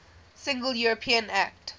single european act